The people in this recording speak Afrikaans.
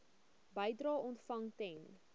bedrae ontvang ten